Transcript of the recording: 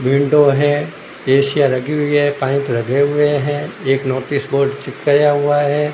Window है AC यां लगी हुई है पाइप लगे हुए है एक नोटिस बोर्ड चिपकाया हुआ है।